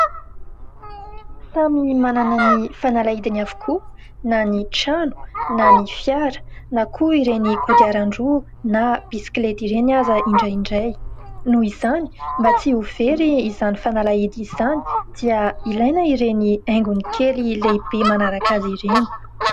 Samy manana ny fanalahidiny avokoa na ny trano na ny fiara na koa ireny kodiaran-droa na bisikileta ireny aza indraindray. Noho izany mba tsy ho very izany fanalahidy izany dia ilaina ireny haingony kely, lehibe manaraka azy ireny.